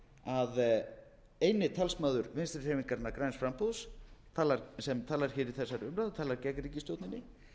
að eini talsmaður vinstri hreyfingarinnar græns framboðs sem talar í þessari umræðu og talar gegn ríkisstjórninni